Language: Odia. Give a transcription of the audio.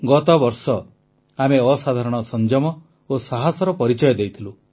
ଗତବର୍ଷ ଆମେ ଅସାଧାରଣ ସଂଯମ ଓ ସାହସର ପରିଚୟ ଦେଇଥିଲୁ